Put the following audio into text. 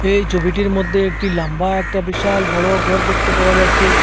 এই ছবিটির মধ্যে একটি লাম্বা একটা বিশাল বড়ো গর দেখতে পাওয়া যাচ্ছে।